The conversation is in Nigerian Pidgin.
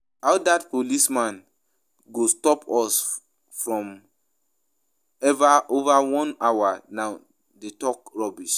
How dat policeman go stop us for over one hour now dey talk rubbish